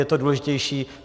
Je to důležitější.